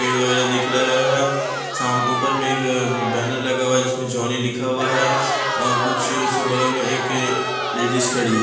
पेड़ वगैरा दिख रहा है शाम ऊपर में एक बैनर लगा हुआ है जिसमें जॉनी लिखा हुआ है और कुछ उसके बगल में एक लेडीस खड़ी है।